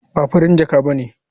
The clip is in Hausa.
Ba Farin jaka ba ne.